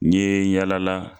N ye yaala la.